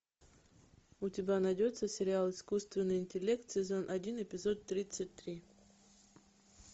у тебя найдется сериал искусственный интеллект сезон один эпизод тридцать три